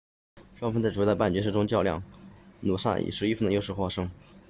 双方在主要的半决赛中较量努萨以11分的优势获胜